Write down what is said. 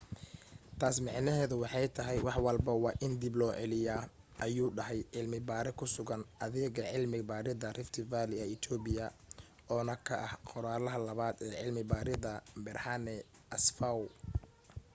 taasi micneheedu waxay tahay wax walbo waa in dib loo celiyo ayuu dhahay cilmi baare ku sugan adeega cilmi baaridda rift valley ee ethiopia oo na ka ah qoraalaha labaad ee cilmi baaridda berhane asfaw